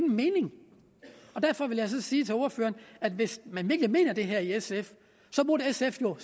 mening og derfor vil jeg sige til ordføreren hvis man virkelig mener det her i sf burde sf jo